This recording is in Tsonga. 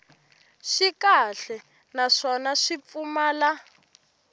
swi kahle naswona swi pfumala